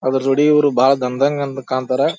ಅದ್ರ ಜೋಡಿ ಇವರು ಬಾರಿ ದಣದಂಗ್ ಅಂತ ಕಾಣ್ತಾರ.